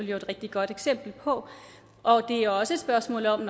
jo et rigtig godt eksempel på og det er også et spørgsmål om